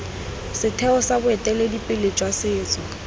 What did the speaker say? setheo sa boeteledipele jwa setso